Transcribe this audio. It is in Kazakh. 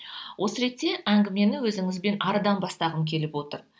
осы ретте әңгімені өзіңізбен әріден бастағым келіп отыр